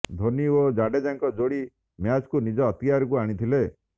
ଧୋନୀ ଓ ଜାଡେଜାଙ୍କ ଯୋଡି ମ୍ୟାଚ୍କୁ ନିଜ ଅକ୍ତିଆରକୁ ଆଣିଥିଲେ